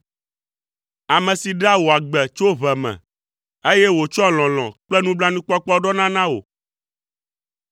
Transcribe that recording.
Ame si ɖea wò agbe tso ʋe me, eye wòtsɔa lɔlɔ̃ kple nublanuikpɔkpɔ ɖɔna na wò.